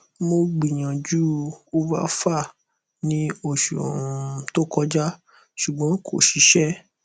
mo gbiyanju ovafar ni osu um to koja ṣugbọn ko ṣiṣẹ